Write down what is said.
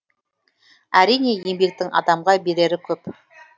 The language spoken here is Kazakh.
әрине еңбектің адамға берері көп